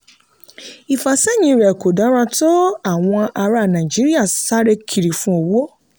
ìfàsẹ́yìn rẹ̀ kò dára tó àwọn ará nàìjíríà sáré kiri fun owó.